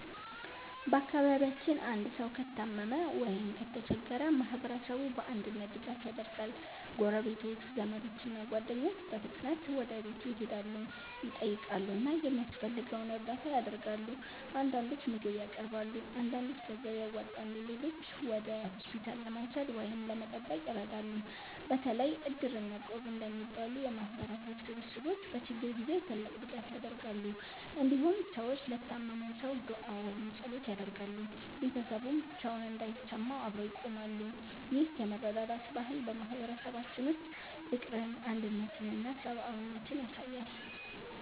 በአካባቢያችን አንድ ሰው ከታመመ ወይም ከተቸገረ ማህበረሰቡ በአንድነት ድጋፍ ያደርጋል። ጎረቤቶች፣ ዘመዶች እና ጓደኞች በፍጥነት ወደ ቤቱ ይሄዳሉ፣ ይጠይቃሉ እና የሚያስፈልገውን እርዳታ ያደርጋሉ። አንዳንዶች ምግብ ያቀርባሉ፣ አንዳንዶች ገንዘብ ያዋጣሉ፣ ሌሎችም ወደ ሆስፒታል ለመውሰድ ወይም ለመጠበቅ ይረዳሉ። በተለይ Iddir እና Equb እንደሚባሉ የማህበረሰብ ስብስቦች በችግር ጊዜ ትልቅ ድጋፍ ያደርጋሉ። እንዲሁም ሰዎች ለታመመው ሰው ዱዓ ወይም ጸሎት ያደርጋሉ፣ ቤተሰቡም ብቻውን እንዳይሰማው አብረው ይቆማሉ። ይህ የመረዳዳት ባህል በማህበረሰባችን ውስጥ ፍቅርን፣ አንድነትን እና ሰብአዊነትን ያሳያል።